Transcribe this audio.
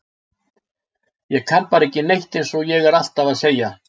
Ég kann bara ekki neitt eins og ég er alltaf að segja.